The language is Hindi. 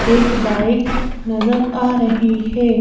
एक बाइक नजर आ रही है।